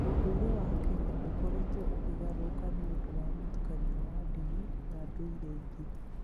Ũndũire wa Akenya ũkoretwo ũkĩgarũrũka nĩ ũndũ wa mũtukanio wa ndini na ndũire ingĩ.